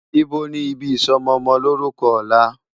Ibó ni ibi isòmòmòlórùkò òlá?